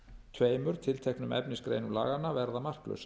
tveimur tilteknum efnisgreinum laganna verða marklausar